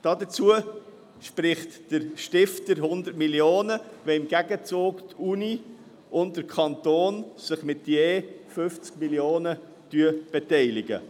Dafür spricht der Stifter 100 Mio. Franken, sofern sich Universität und Kanton im Gegenzug mit je 50 Mio. Franken beteiligen.